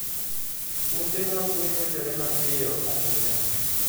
Puothe mag gwen medore mapiyo ahinya.